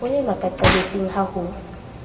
o le makaqabetsing ha ho